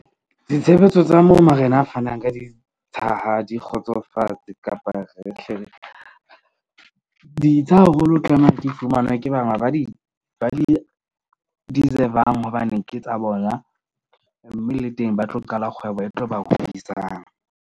Ditshebetso tsa mo marena a fanang ka ditsha ha di kgotsofatse kapa re hle re ditsha haholo, tlameha di fumanwe ke banga ba di deserve-ang. Hobane ke tsa bona mme le teng ba tlo qala kgwebo e tlo ba .